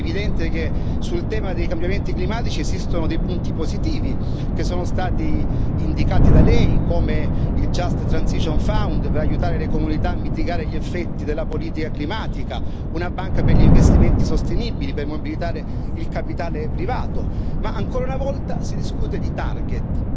Perché è evidente che sul tema dei cambiamenti climatici esistono dei punti positivi, che sono stati indicati da Lei, come il Just Transition Fund per aiutare le comunità a mitigare gli effetti della politica climatica, una banca per gli investimenti sostenibili per mobilitare il capitale privato, ma ancora una volta si discute di target.